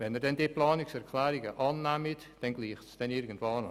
Wenn Sie die Planungserklärungen annehmen, gleitet es irgendwo hin.